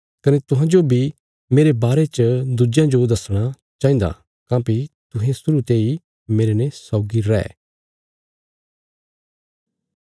कने तुहांजो बी मेरे बारे च दुज्यां जो दसणा चाहिन्दा काँह्भई तुहें शुरु ते ही मेरने सौगी रै